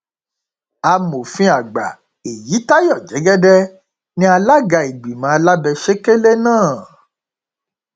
amòfin àgbà èyítayọ jẹgẹdẹ ní alága ìgbìmọ alábẹsẹkẹlẹ náà